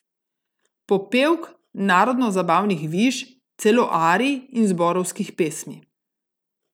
Popevk, narodno zabavnih viž, celo arij in zborovskih pesmi.